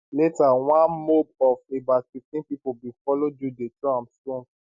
later one mob of about 15 pipo bin follow jude dey throw am stones